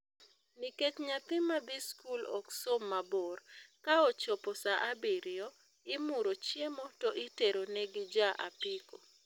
Nikech nyathi madhi skul ok som mabor, ka ochopo saa abiriyo, imuro chiemo to itero ne gi ja apiko